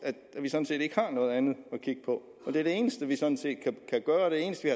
at vi sådan set ikke har noget andet at kigge på og det er det eneste vi kan gøre og det eneste